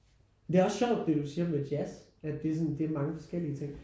Det er også sjovt det du siger med jazz at det er sådan det er mange forskellige ting